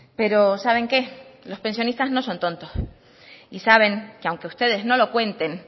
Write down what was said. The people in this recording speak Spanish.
pero saben qué los pensionistas no son tontos y saben que aunque ustedes no lo cuenten